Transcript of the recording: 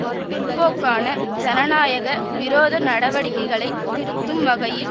பிற்போக்கான ஜனநாயக விரோத நடவடிக்கைகளை திருத்தும் வகையில்